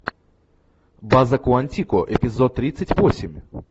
база куантико эпизод тридцать восемь